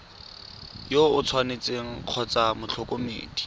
yo o tshwanetseng kgotsa motlhokomedi